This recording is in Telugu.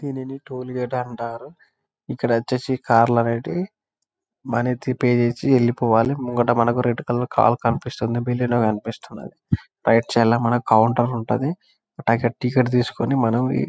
దీనిని టోల్ గేట్ అంటారు ఇక్కడ వచ్చేసి కార్లు అనేటివి మనీ పే చేసి వెళ్ళిపోవాలి ముంగట మనకు ఒక రెడ్ కలర్ కార్ కనిపిస్తుంది కనిపిస్తున్నది రైట్ సైడ్ లా మనకి కౌంటర్ ఉంటది అక్కడ టికెట్ తీస్కొని మనం --